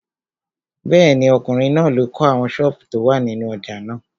Bẹ́ẹ̀ni, ọkùnrin náà ló kọ́ àwọn sọ́ọ̀bù tó wà nínú ojà náà.